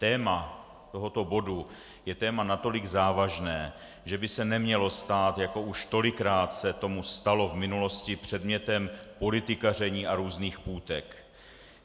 Téma tohoto bodu je téma natolik závažné, že by se nemělo stát, jako už tolikrát se tomu stalo v minulosti, předmětem politikaření a různých půtek.